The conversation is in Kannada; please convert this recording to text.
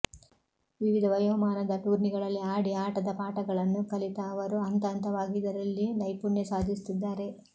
ವಿವಿಧ ವಯೋಮಾನದ ಟೂರ್ನಿಗಳಲ್ಲಿ ಆಡಿ ಆಟದ ಪಾಠಗಳನ್ನು ಕಲಿತ ಅವರು ಹಂತ ಹಂತವಾಗಿ ಇದರಲ್ಲಿ ನೈಪುಣ್ಯ ಸಾಧಿಸುತ್ತಿದ್ದಾರೆ